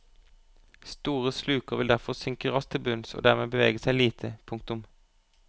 Store sluker vil derfor synke raskt til bunns og dermed bevege seg lite. punktum